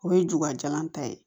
O ye jugajalan ta ye